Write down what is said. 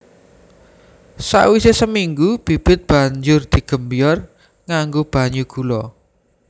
Sakwisé seminggu bibit banjur digembyor nganggo banyu gula